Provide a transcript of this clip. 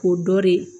K'o dɔ de